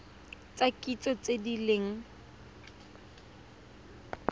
tsa kitso tse di leng